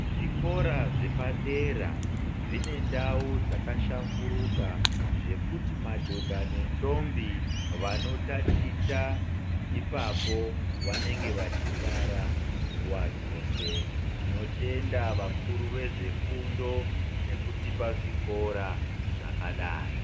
Zvikora zvepadera zvine ndau dzakashamburuka zvekuti madhodha nendombi vanotachita ipapo vanenge vachifara nguva dzose tinotenda vakuru vezvefundo nekutipa zvikora zvakadai.